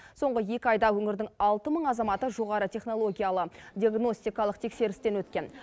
соңғы екі айда өңірдің алты мың азаматы жоғары технологиялы диагностикалық тексерістен өткен